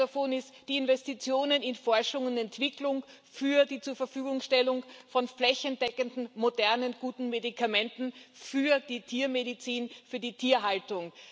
Einer davon sind die Investitionen in Forschung und Entwicklung für die Zurverfügungstellung von flächendeckenden, modernen und guten Medikamenten für die Tiermedizin, für die Tierhaltung.